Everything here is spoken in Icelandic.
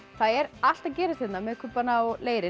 það er allt að gerast hérna með kubbana og leirinn